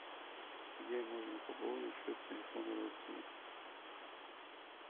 где можно пополнить счет телефона родственника